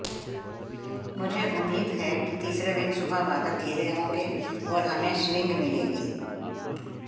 मुझे उम्मीद है कि तीसरे दिन सुबह बादल घिरे होंगे और हमें स्विंग मिलेगी